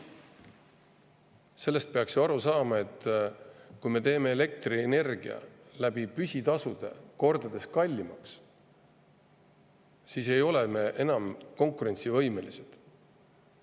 Sellest peaks ju aru saama, et kui me teeme elektrienergia püsitasudega kordades kallimaks, siis ei ole me enam konkurentsivõimelised.